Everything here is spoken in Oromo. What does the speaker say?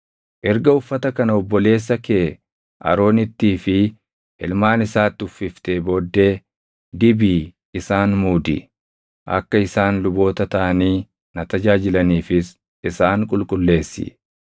Erga uffata kana obboleessa kee Aroonittii fi ilmaan isaatti uffiftee booddee dibii isaan muudi. Akka isaan luboota taʼanii na tajaajilaniifis isaan qulqulleessi.